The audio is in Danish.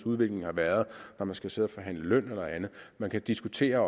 udvikling har været når man skal sidde og forhandle løn eller andet man kan diskutere